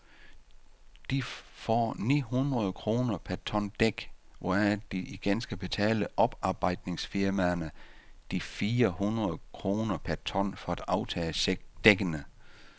De får ni hundrede kroner per ton dæk, hvoraf de igen skal betale oparbejdsningsfirmaerne de fire hundrede kroner per ton for at aftage dækkene.